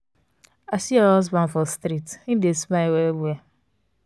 i see your husband for street him dey smile well well.